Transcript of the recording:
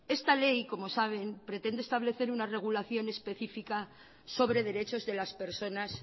esta ley como saben pretende establecer una regulación específica sobre derechos de las personas